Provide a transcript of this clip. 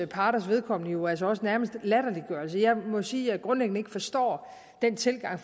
parters vedkommende jo altså også nærmest genstand latterliggørelse jeg må sige at jeg grundlæggende ikke forstår den tilgang